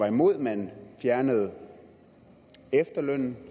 imod at man fjernede efterlønnen